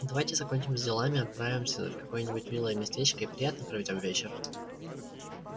давайте закончим с делами отправимся в какое-нибудь милое местечко и приятно проведём вечер